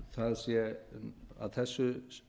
það sé að þessu